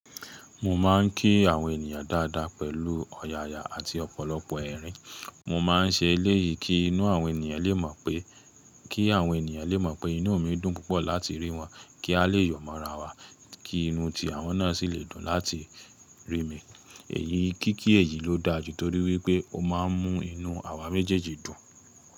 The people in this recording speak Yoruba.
Mo máa ń kí àwọn ènìyàn dáadáa pẹ̀lú ọ̀yàyà àti ọ̀pọ̀lọpọ̀ ẹ̀rín. Mo máa ń ṣe eléyìí kí inú àwọn ènìyàn lè mọ̀ pé, kí àwọn ènìyàn lè mọ̀ pé inú mi dùn púpọ̀ láti rí wọn, kí a lè yọ̀ mọ́ra wa, kí inú ti àwọn náà sì lè dùn láti rí mi. Èyí, kíkí èyí ló dáa jù torí wípé ó máa ń mú inú àwa méjèèjì dùn.